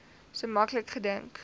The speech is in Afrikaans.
so maklik gedink